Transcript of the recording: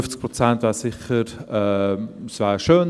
50 Prozent wären sicher schön;